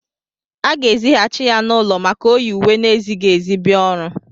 A ga-èzigháchị ya n'ụlọ maka o yị ùwé na-ezịghị ezi bia ọrụ